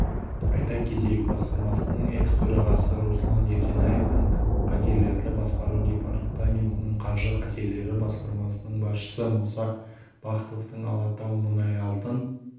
айта кетейік басқармасының экс-төрағасы руслан ерденаевтың қатерлерді басқару департаментінің қаржы қатерлері басқармасының басшысы мұса бахтовтың алатаумұнайалтын